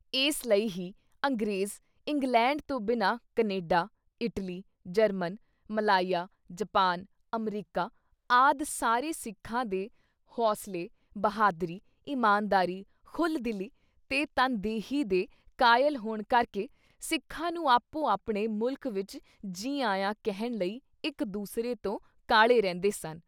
ਇਸ ਲਈ ਹੀ ਅੰਗਰੇਜ਼ ਇੰਗਲੈਂਡ ਤੋਂ ਬਿਨਾਂ Canada, Italy, German, Malaya, Japan, America, ਆਦਿ ਸਾਰੇ ਸਿੱਖਾਂ ਦੇ ਹੌਸਲੇ, ਬਹਾਦਰੀ, ਇਮਾਨਦਾਰੀ, ਖੁੱਲ੍ਹ-ਦਿਲੀ, ਤੇ ਤਨਦੇਹੀ ਦੇ ਕਾਇਲ ਹੋਣ ਕਰਕੇ ਸਿੱਖਾਂ ਨੂੰ ਆਪੋ-ਆਪਣੇ ਮੁਲਕ ਵਿੱਚ “ਜੀ ਆਇਆਂ” ਕਹਿਣ ਲਈ ਇੱਕ ਦੂਸਰੇ ਤੋਂ ਕਾਹਲ਼ੇ ਰਹਿੰਦੇ ਸਨ।